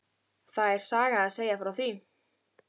Það er saga að segja frá því.